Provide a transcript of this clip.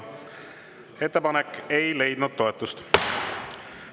Ettepanek ei leidnud toetust.